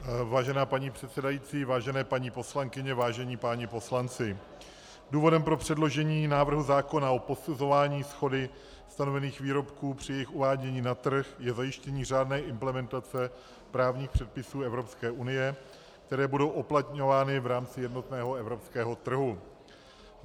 Vážená paní předsedající, vážené paní poslankyně, vážení páni poslanci, důvodem pro předložení návrhu zákona o posuzování shody stanovených výrobků při jejich uvádění na trh je zajištění řádné implementace právních předpisů Evropské unie, které budou uplatňovány v rámci jednotného evropského trhu.